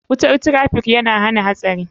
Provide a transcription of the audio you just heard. Wutar traffiikyana hana hatsari.